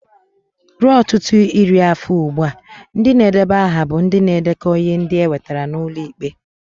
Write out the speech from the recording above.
Ruo ọtụtụ iri afọ ugbu a, ndị na-edeba aha bụ ndị na-edekọ ihe ndị e wetara n'ụlọ ikpe.